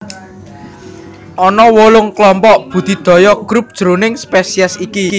Ana wolung klompok budidaya Group jroning spesies iki